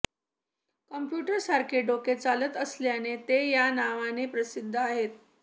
कॉम्प्युटरसारखे डोके चालत असल्याने ते या नावाने प्रसिद्ध आहेत